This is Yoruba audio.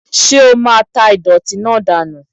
Ṣé o máa tá ìdọ̀tí náà dànù!